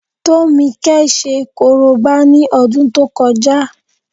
Tómikẹ́ ṣe korobá ní ọdún tó kọjá